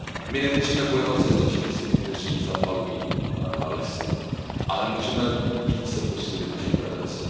My nemůžeme bojovat se zločinci, kteří zapalují lesy, ale můžeme více posílit naši prevenci.